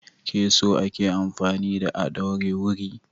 Keso ake amfani da a ɗaure wuri.